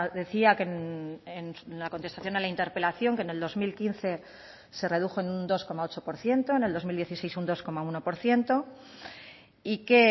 decía en la contestación a la interpelación que en el dos mil quince se redujo en un dos coma ocho por ciento en el dos mil dieciséis un dos coma uno por ciento y que